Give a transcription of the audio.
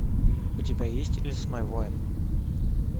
у тебя есть лесной воин